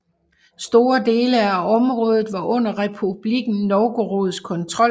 Store dele af området var under Republikken Novgorods kontrol